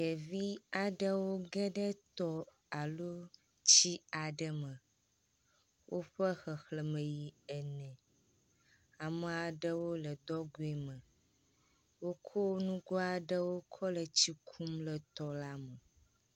Ɖevi aɖewo ge ɖe tɔ alo tsi aɖe me. Woƒe xexlẽme yi ene. Ame aɖewo le dɔgoe me. Wokɔ nugo aɖewo kɔ le tsi kum le tɔ la me